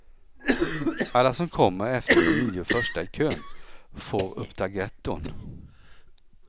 Alla som kommer efter de nio första i kön får upptagetton.